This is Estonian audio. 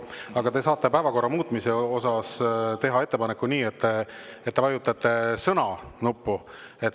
Aga te saate päevakorra muutmise ettepaneku teha nii, et te vajutate nuppu "Sõna".